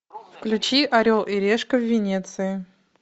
включи орел и решка в венеции